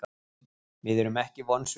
Við erum ekki vonsviknir.